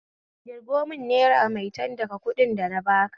Ƙirgo mun naira maitan daga kuɗin dana baka